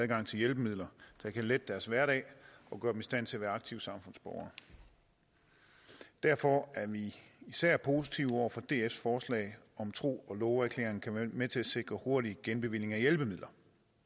adgang til hjælpemidler der kan lette deres hverdag og gøre dem i stand til at være aktive samfundsborgere derfor er vi især positive over for dfs forslag at en tro og love erklæring kan være med til at sikre hurtig genbevilling af hjælpemidler